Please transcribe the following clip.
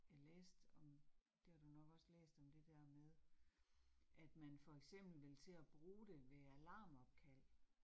Jeg læste om, det har du nok også læst, om det der med, at man for eksempel ville til at bruge det ved alarmopkald